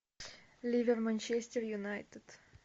ливер манчестер юнайтед